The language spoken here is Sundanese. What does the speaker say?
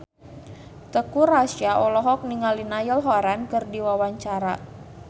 Teuku Rassya olohok ningali Niall Horran keur diwawancara